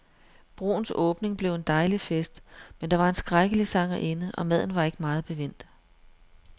Broens åbning blev en dejlig fest, men der var en skrækkelig sangerinde, og maden var ikke meget bevendt.